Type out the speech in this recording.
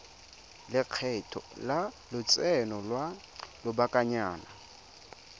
lekgetho la lotseno lwa lobakanyana